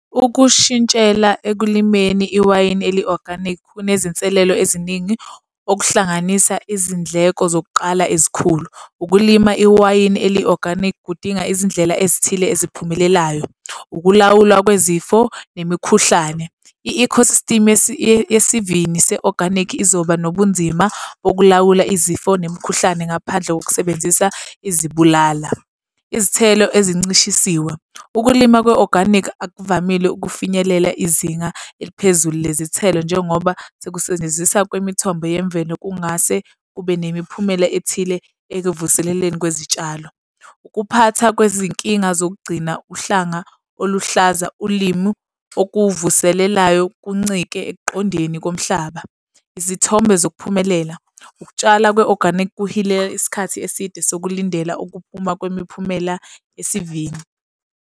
Ukushintshela ekulimeni, iwayini eli-organic kunezinselelo eziningi okuhlanganisa izindleko zokuqala ezikhulu. Ukulima iwayini eli-organic kudinga izindlela ezithile eziphumelelayo. Ukulawulwa kwezifo nemikhuhlane, i-ecosystem yesivini se-organic izoba nobunzima bokulawula izifo nemikhuhlane ngaphandle kokusebenzisa izibulala. Izithelo ezincishisiwe. Ukulima kwe-organic akuvamile ukufinyelela izinga eliphezulu lezithelo njengoba sekusetshenzisa kwemithombo yemvelo kungase kube nemiphumela ethile ekuvuseleleni kwezitshalo. Ukuphatha kwezinkinga zokugcina uhlanga oluhlaza ulimu okuvuselelayo kuncike ekuqondeni komhlaba. Izithombe zokuphumelela. Ukutshala kwe-organic kuhileka isikhathi eside sokulandela ukuphuma kwemiphumela esivini.